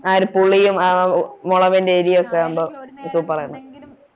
പുളിയും ആഹ് ഒരു മുളകിന്റെ എരിയൊക്കെ ആവുമ്പൊ